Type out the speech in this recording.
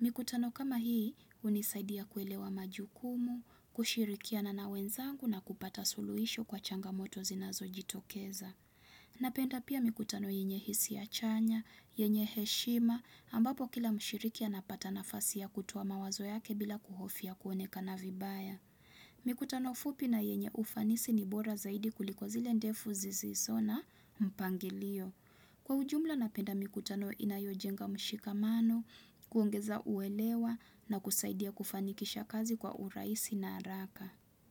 Mikutano kama hii, hunisaidia kuelewa majukumu, kushirikia na nawenzangu na kupata suluisho kwa changamoto zinazo jitokeza. Napenda pia mikutano yenye hisia chanya, yenye heshima, ambapo kila mshirikia anapata nafasi ya kutowa mawazo yake bila kuhofia kuonekana vibaya. Mikutano fupi na yenye ufanisi ni bora zaidi kuliko zile ndefu zisizo na mpangilio. Kwa ujumla napenda mikutano inayojenga mshikamano, kuongeza uelewa na kusaidia kufanikisha kazi kwa urahisi na haraka.